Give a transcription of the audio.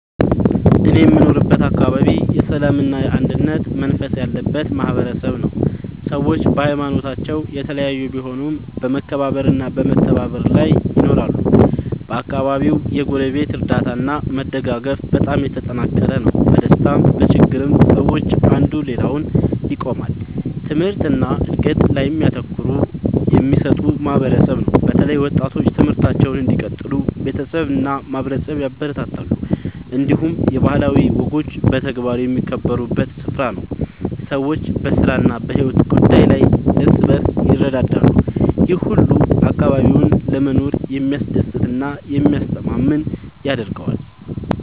እኔ የምኖርበት አካባቢ የሰላምና የአንድነት መንፈስ ያለበት ማህበረሰብ ነው። ሰዎች በሀይማኖታቸው የተለያዩ ቢሆኑም በመከባበር እና በመተባበር ይኖራሉ። በአካባቢው የጎረቤት እርዳታ እና መደጋገፍ በጣም የተጠናከረ ነው። በደስታም በችግርም ሰዎች አንዱ ለሌላው ይቆማሉ። ትምህርት እና እድገት ላይም ትኩረት የሚሰጥ ማህበረሰብ ነው። በተለይ ወጣቶች ትምህርታቸውን እንዲቀጥሉ ቤተሰብ እና ማህበረሰብ ያበረታታሉ። እንዲሁም የባህላዊ ወጎች በተግባር የሚከበሩበት ስፍራ ነው። ሰዎች በስራ እና በሕይወት ጉዳይ ላይ እርስ በርስ ይረዳዳሉ። ይህ ሁሉ አካባቢውን ለመኖር የሚያስደስት እና የሚያስተማማኝ ያደርገዋል።